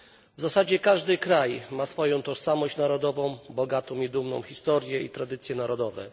W zasadzie każdy kraj ma swoją tożsamość narodową, bogatą i dumną historię i tradycje narodowe.